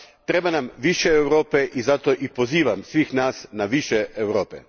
Treba nam više Europe i zato i pozivam sve nas na više Europe.